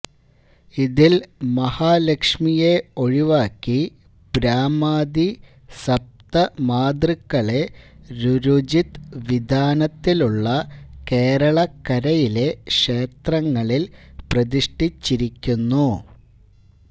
ഇതില് മഹാലക്ഷ്മിയെ ഒഴിവാക്കി ബ്രാഹ്മാദി സപ്തമാതൃക്കളെ രുരുജിത് വിധാനത്തിലുള്ള കേരളക്കരയിലെ ക്ഷേത്രങ്ങളില് പ്രതിഷ്ഠിച്ചിരിക്കുന്നു